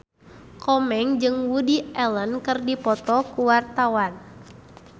Komeng jeung Woody Allen keur dipoto ku wartawan